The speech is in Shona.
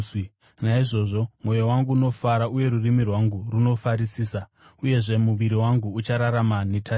Naizvozvo mwoyo wangu unofara uye rurimi rwangu runofarisisa; uyezve muviri wangu uchararama netariro,